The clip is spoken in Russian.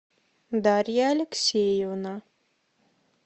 дарья алексеевна